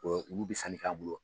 Ɔ olu bɛ san k'a bolo